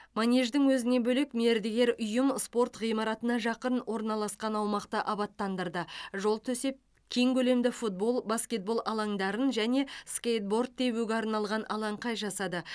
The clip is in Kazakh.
манеждің өзінен бөлек мердігер ұйым спорт ғимаратына жақын орналасқан аумақты абаттандырды жол төсеп кең көлемді футбол баскетбол алаңдарын және скейтборд тебуге арналған алаңқай жасады